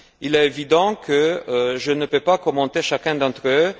Il est évident que je ne peux pas commenter chacun d'entre eux.